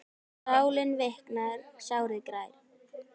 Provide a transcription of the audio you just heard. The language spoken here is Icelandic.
Sálin viknar, sárið grær.